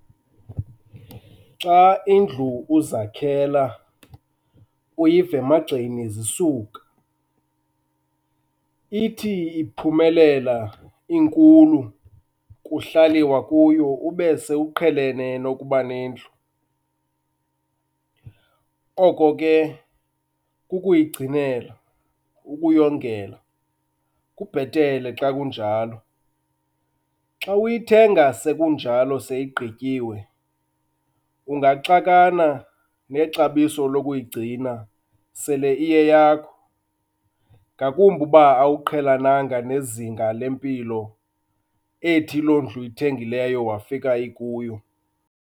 Xa indlu uzakhela uyiva emagxeni zisuka, ithi iphumelela inkulu kuhlaliwa kuyo ube sewuqhelene nokuba nendlu. Oko ke kukuyigcinela, ukuyongela, kubhetele xa kunjalo. Xa uyithenga sekunjalo seyigqityiwe ungaxakana nexabiso lokuyigcina sele iyeyakho, ngakumbi uba awuqhelenanga nezinga lempilo ethi loo ndlu uyithengileyo wafika ikuyo.